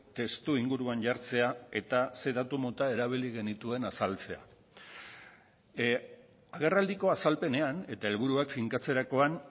testuinguruan jartzea eta ze datu mota erabili genituen azaltzea agerraldiko azalpenean eta helburuak finkatzerakoan